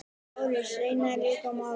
LÁRUS: Reynið þá að ljúka málinu.